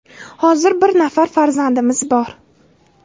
Hozir bir nafar farzandimiz bor.